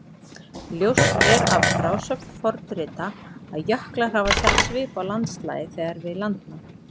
Ljóst er af frásögn fornrita að jöklar hafa sett svip á landslagið þegar við landnám.